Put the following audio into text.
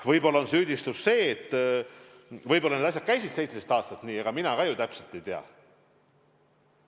Võib-olla on süüdistus see, et asjad käisid 17 aastat nii – ega ma täpselt ei tea.